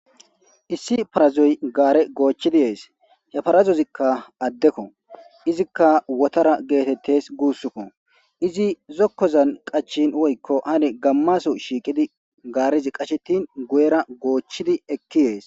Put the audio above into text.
Issi parazoy gaare goochchidi yees he parazozikka addekko izikka wotara geetettes guussukko izi zokkozan qachin woykko hane gammaso shiiqidi gaarizi qashetin guyera goochchidi ekki yees.